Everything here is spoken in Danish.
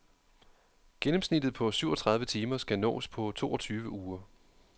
Gennemsnittet på syvogtredive timer skal nås på toogtyve uger.